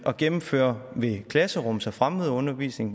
at gennemføre ved klasserums og fremmødeundervisning